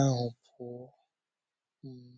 ahụ pụọ. um